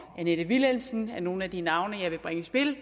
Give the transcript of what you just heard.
annette vilhelmsen er nogle af de navne jeg vil bringe i spil